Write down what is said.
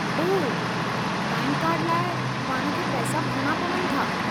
ओह, PAN card लाइ पाणि खे पैसा भरणा पवनि था?